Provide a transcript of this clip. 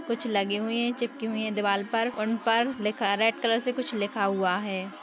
कुछ लगे हुई है चिपकी हुई है दिवार पर उन पर लिखा रेड कलर से कुछ लिखा हुआ है।